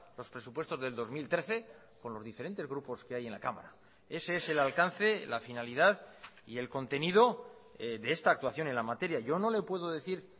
los presupuestos del dos mil trece con los diferentes grupos que hay en la cámara ese es el alcance la finalidad y el contenido de esta actuación en la materia yo no le puedo decir